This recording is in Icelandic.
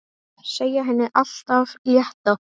Segja henni allt af létta.